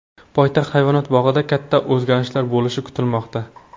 Poytaxt hayvonot bog‘ida katta o‘zgarishlar bo‘lishi kutilmoqda.